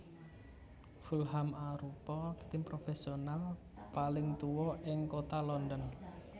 Fulham arupa tim profesional paling tua ing Kota London